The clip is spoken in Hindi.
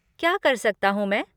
क्या कर सकता हूँ मैं?